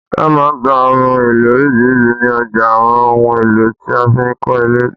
Wọn máa ń tà òhun èlò orisirisi ni ọjà àwọn ohùn èlò tí a fi ń kọ ile